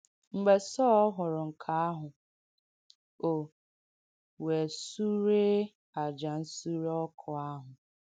Mgbe Sọ̀l hụ̀rụ̀ nke àhụ̀, o “wēē sùrēē àjà ǹsùrē ọ̀kụ̀ àhụ̀.”